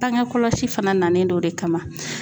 Bange kɔlɔsi fana nalen don o de kama.